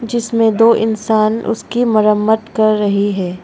इसमें दो इंसान उसकी मरम्मत कर रही है।